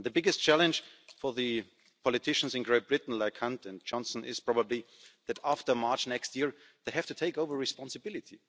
The biggest challenge for the politicians in Great Britain, like Hunt and Johnson, is probably that after March next year they have to take over responsibility.